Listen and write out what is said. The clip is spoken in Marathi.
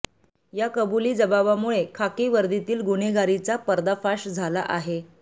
या कबुली जबाबामुळे खाकी वर्दीतील गुन्हेगारीचा पर्दाफाश झाला आहे